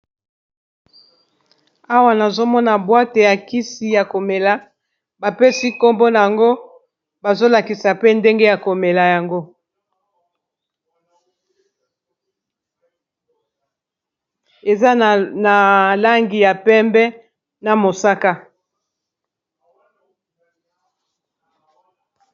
Awa nazomona bwate ya kisi ya komela bapesi nkombo na yango bazolakisa pe ndenge ya komela yango eza na langi ya pembe na mosaka.